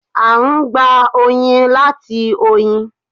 À n gbà oyin láti oyin